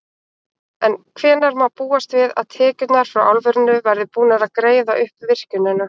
En hvenær má búast við að tekjurnar frá álverinu verði búnar að greiða upp virkjunina?